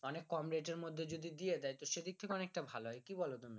অনেক কম rate এর মধ্যে যদি দিয়ে দেয় তো সেদিক থেকে অনেকটা ভালো হয় কি বলো তুমি